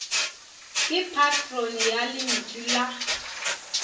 ke patrone ya lentšu la